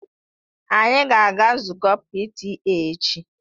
Anyị ga-aga nzukọ PTA echi.